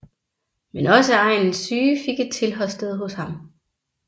Men også egnens syge fik et tilholdssted hos ham